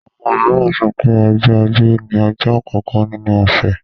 Àwọn mìíràn sọ pé ọjọ́ ajé ni ọjọ́ àkọ́kọ́ nínú ọ̀sẹ̀.